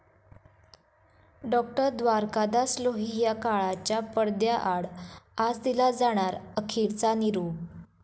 डाॅ. द्वारकादास लोहिया काळाच्या पडद्याआड, आज दिला जाणार अखेरचा निरोप